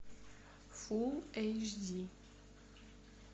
фулл эйч ди